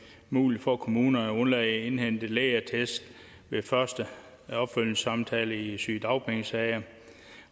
muligt for kommunerne at indhente lægeattest ved første opfølgningssamtale i sygedagpengesager